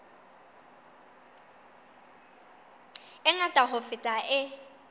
e ngata ho feta e